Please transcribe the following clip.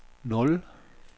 nul